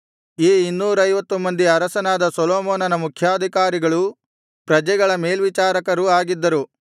ಈ ಇನ್ನೂರೈವತ್ತು ಮಂದಿ ಅರಸನಾದ ಸೊಲೊಮೋನನ ಮುಖ್ಯಾಧಿಕಾರಿಗಳೂ ಪ್ರಜೆಗಳ ಮೇಲ್ವಿಚಾರಕರೂ ಆಗಿದ್ದರು